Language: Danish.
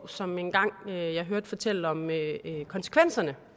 som jeg engang hørte fortælle om konsekvenserne